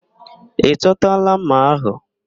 Ị chọtala ḿmà ahụ?